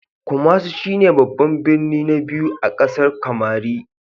Kumasi shi ne babban birnin na biyu a ƙasar Kamari.